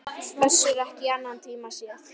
Össur ekki í annan tíma séð.